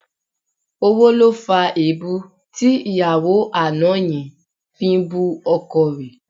Owó ló fa èébú tí ìyàwó àná yẹn fi ń bú ọkọ rẹ̀